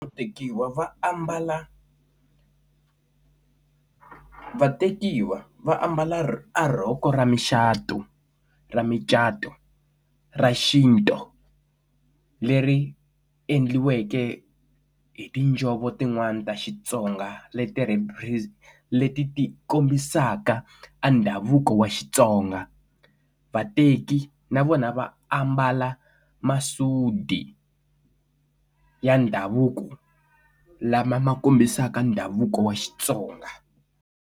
Ku tekiwa va ambala vatekiwa va ambala a rhoko ra muchato ra micato ra xintu leri endliweke hi tinjhovo tin'wani ta Xitsonga leti rapres leti ti kombisaka a ndhavuko wa xitsonga vateki na vona va ambala masudi ya ndhavuko lama ma kombisaka ndhavuko wa xitsonga.